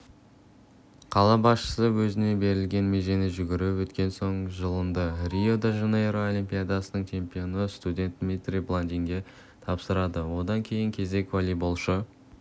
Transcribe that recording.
қала басшысы өзіне берілген межені жүгіріп өткен соң жалынды рио-де жанейро олимпиадасының чемпионы студент дмитрий баландинге тапсырады одан кейінгі кезек волейболшы